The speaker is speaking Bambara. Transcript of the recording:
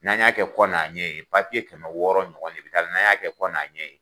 N'an y'a kɛ kɔ n' a ɲɛ ye papiye kɛmɛ wɔɔrɔ ɲɔgɔn de taara n'an y'a kɛ kɔ n'a ɲɛ ye